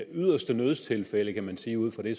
yderste nødstilfælde kan vi sige ud fra det